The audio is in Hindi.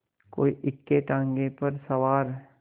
कोई इक्केताँगे पर सवार